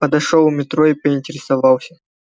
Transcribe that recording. подошёл у метро и поинтересовался